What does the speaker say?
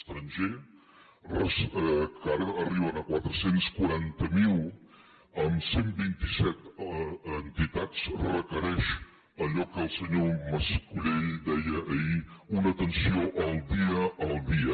estranger que ara arriben a quatre cents i quaranta miler amb cent i vint set entitats requereix allò que el senyor mas colell deia ahir una atenció en el dia a dia